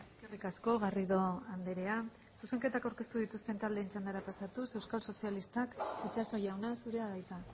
eskerrik asko garrido andrea zuzenketak aurkeztu dituzten taldeen txandara pasatuz euskal sozialistak itxaso jauna zurea da hitza